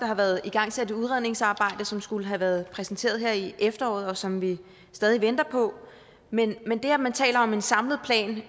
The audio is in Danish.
har været igangsat et udredningsarbejde som skulle have været præsenteret her i efteråret og som vi stadig venter på men det at man taler om en samlet plan